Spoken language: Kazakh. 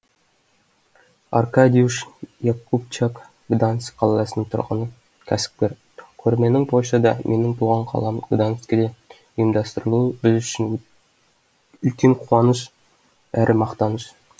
аркадиуш якубчак гданьск қаласының тұрғыны кәсіпкер көрменің польшада менің туған қалам гданьскте ұйымдастырылуы біз үшін үлкен қуаныш әрі мақтаныш